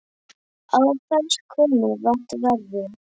Á hvers konar vakt ferðu?